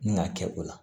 Ni k'a kɛ o la